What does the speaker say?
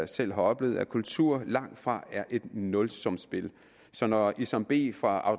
selv har oplevet at kultur langtfra er et nulsumsspil så når isam b fra